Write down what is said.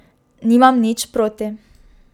Nimam nič proti.